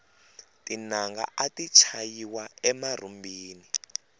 tinanga ati chayiwa emarhumbini